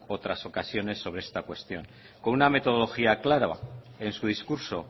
otras ocasiones sobre esta cuestión con una metodología clara en su discurso